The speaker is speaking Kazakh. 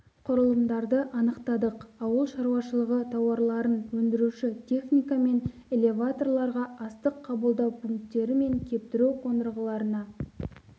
құрылымдарды анықтадық ауыл шаруашылығы тауарларын өндіруші техника мен элеваторларға астық қабылдау пункттері мен кептіру қондырғыларына